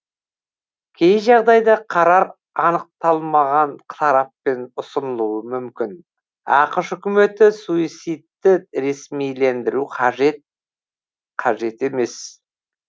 кей жағдайда қарар анықталмаған тараппен ұсынылуы мүмкін ақш үкіметі суицидті ресмилендіру қажет қажет емес